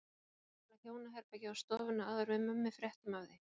Það var búið að mála hjónaherbergið og stofuna áður en við Mummi fréttum af því.